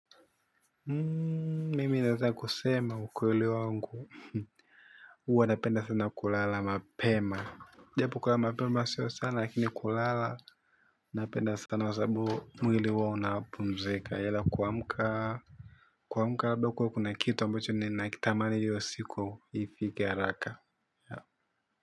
Mimi naeza kusema ukweli wangu uwa napenda sana kulala mapema. Japo kula mapema sio sana lakini kulala napenda sana kwasababu mwili ua unapumzika ila kuamka kuamuka labda kuwe kuna kitu ambacho ni nakitamani iyo siku ifike haraka.